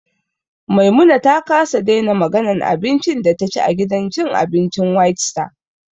Maimuna ta kasa daina maganan abincin da taci a gidan cin abincin whitestar